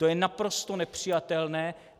To je naprosto nepřijatelné.